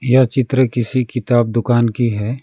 यह चित्र किसी किताब दुकान की है।